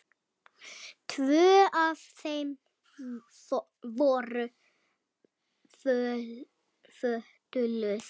Tvö af þeim voru fötluð.